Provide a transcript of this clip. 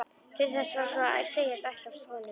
Til þess var svo að segja ætlast af honum.